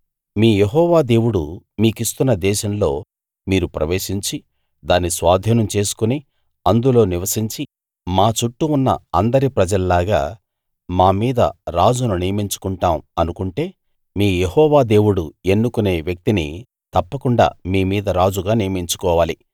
మీ యెహోవా దేవుడు మీకిస్తున్న దేశంలో మీరు ప్రవేశించి దాన్ని స్వాధీనం చేసుకుని అందులో నివసించి మా చుట్టూ ఉన్న అందరి ప్రజల్లాగా మా మీద రాజును నియమించుకుంటాం అనుకుంటే మీ యెహోవా దేవుడు ఎన్నుకునే వ్యక్తిని తప్పకుండా మీ మీద రాజుగా నియమించుకోవాలి